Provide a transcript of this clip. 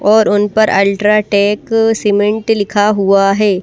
और उन पर अल्ट्राटेक सीमेंट लिखा हुआ है।